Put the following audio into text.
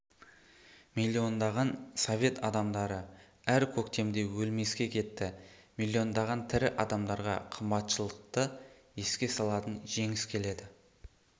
миллиондаған совет адамдары әр көктемде өлмеске кетті миллиондаған тірі адамдарға қымбатшылықты еске салатын жеңіс келеді